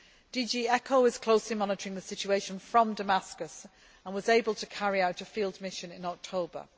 DG ECHO is closely monitoring the situation from Damascus and was able to carry out a field mission in October.